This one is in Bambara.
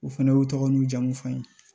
U fɛnɛ u tɔgɔ n'u jamu fɔ an ye